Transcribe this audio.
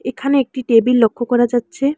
এখানে একটি টেবিল লক্ষ্য করা যাচ্ছে।